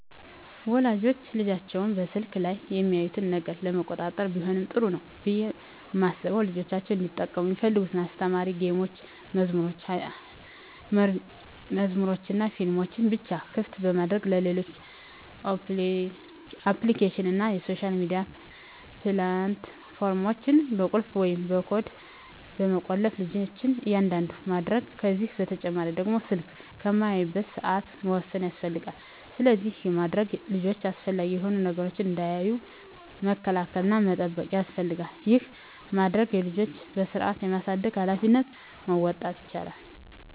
ወላጆች ልጆቻቸው በስልክ ላይ የሚያዩትን ነገር ለመቆጣጠር ቢሆን ጥሩ ነው ብየ ማስበው ልጆቻቸው እንዲጠቀሙ ሚፈልጉትን አስተማሪ ጌሞችን፣ መዝሙሮችንናፊልሞችን ብቻ ክፍት በማድረግ ሌሎች አፕሊኬሽኖችን እና የሶሻል ሚዲያ ፕላት ፎርሞችን በቁልፍ ወይም በኮድ በመቆለፍ ልጅች እንዳያዩት ማድረግ ከዚህ በተጨማሪ ደግሞ ስልክ የሚያዩበትን ሰአት መወሰን ያስፈልጋል። ስለዚህ ይህን በማድረግ ልጆች አላስፈላጊ የሆኑ ነገሮችን እንዳያዩ መከላከል እና መጠበቅ ያስፈልጋል ይህን በማድረግ የልጆችን በስርአት የማሳደግ ሀላፊነቶችን መወጣት ይቻላል።